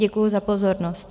Děkuji za pozornost.